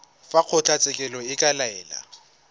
fa kgotlatshekelo e ka laela